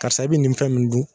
Karisa e be nin fɛn min dun